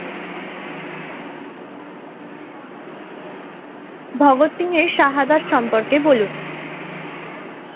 ভগৎ সিং এর সহোদর সম্পর্কে বলুন?